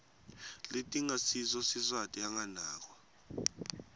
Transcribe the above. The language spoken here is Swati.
letingasiso siswati anganakwa